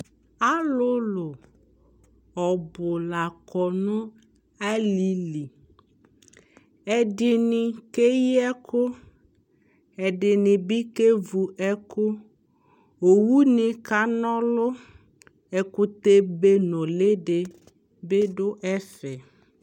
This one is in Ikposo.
alʋlʋ ɔbʋ lakɔ nʋ alili, ɛdini kɛyi ɛkʋ, ɛdini bi kɛvʋ ɛkʋ, ɔwʋni kanɔ ɔlʋ, ɛkʋtɛ bɛ nʋli dibi dʋ ɛƒɛ